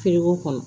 kɔnɔ